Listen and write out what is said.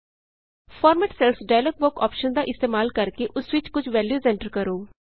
format cells dialogue box option ਦਾ ਇਸਤੇਮਾਲ ਕਰਕੇ ਉਸ ਵਿਚ ਕੁਝ ਵੈਲਯੂਜ਼ ਐਂਟਰ ਕਰੋ